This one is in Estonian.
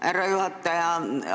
Härra juhataja!